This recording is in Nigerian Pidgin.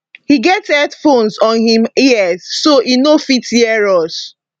e get headphones on im ears so e no fit hear us